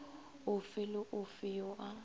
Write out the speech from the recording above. ofe le ofe yo a